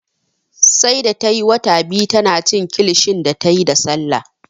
Sai da tayi wata biyu tana cin kilishi da tayi da Sallah